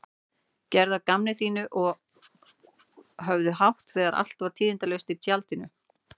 Gerðu að gamni sínu og höfðu hátt þegar allt var tíðindalaust á tjaldinu.